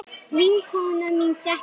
Vinkona mín þekkir hann.